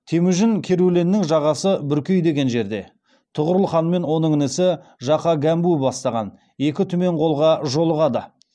темужін керуленнің жағасы бүркей деген жерде тұғырылханмен оның інісі жақа гәмбу бастаған екі түмен қолға жолығады